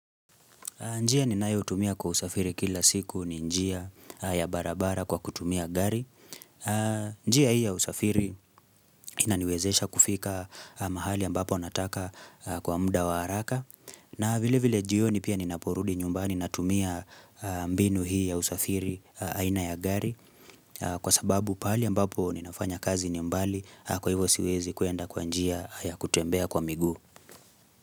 Njia ni nayo tumia kwa usafiri kila siku ni njia ya barabara kwa kutumia gari. Njia hii ya usafiri inaniwezesha kufika mahali ambapo nataka kwa muda wa haraka. Na vile vile jioni pia ninaporudi nyumbani na tumia mbinu hii ya usafiri aina ya gari kwa sababu pahali ambapo ninafanya kazi ni mbali kwa hivo siwezi kuenda kwa njia ya kutembea kwa miguu.